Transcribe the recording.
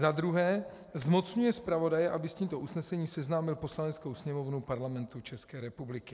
Za druhé zmocňuje zpravodaje, aby s tímto usnesením seznámil Poslaneckou sněmovnu Parlamentu České republiky.